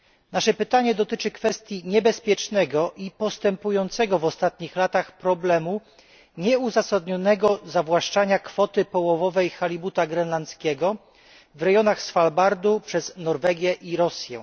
Nasze pytanie dotyczy kwestii niebezpiecznego i postępującego w ostatnich latach problemu nieuzasadnionego zawłaszczania kwoty połowowej halibuta grenlandzkiego w rejonach Svalbardu przez Norwegię i Rosję.